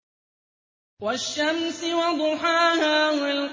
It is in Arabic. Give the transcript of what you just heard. وَالشَّمْسِ وَضُحَاهَا